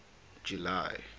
july